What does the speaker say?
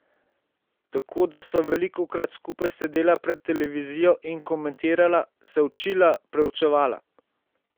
Tako da sva velikokrat skupaj sedela pred televizijo in komentirala, se učila, preučevala.